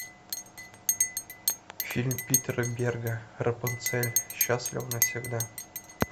фильм питера берга рапунцель счастлива навсегда